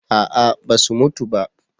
A'a ba su mutu ba